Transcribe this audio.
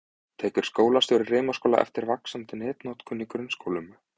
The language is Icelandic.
Tekur skólastjóri Rimaskóla eftir vaxandi netnotkun í grunnskólum?